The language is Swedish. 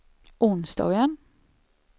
onsdagen